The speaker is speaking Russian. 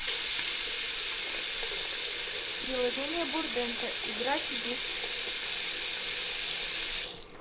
приложение бурденко играть в